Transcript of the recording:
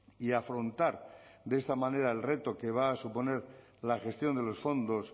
y afrontar de esta manera el reto que va a suponer la gestión de los fondos